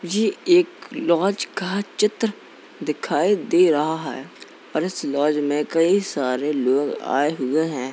ये एक लॉज का चित्र दिखाई दे रहा है और इस लॉज में कई सारे लोग आये हुए हैं।